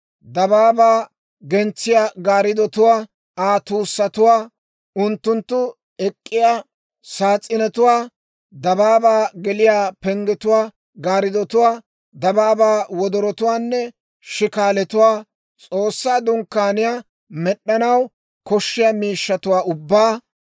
dabaabaa gentsiyaa gaariddotuwaa, Aa tuussatuwaa, unttunttu ek'k'iyaa saas's'inetuwaa, dabaabaa geliyaa penggetuwaa gaaridduwaa, dabaabaa wodorotuwaanne shikaalatuwaa, S'oossaa Dunkkaaniyaa med'anaw koshshiyaa miishshatuwaa ubbaa;